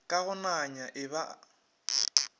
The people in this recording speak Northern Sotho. ka go nanya e ba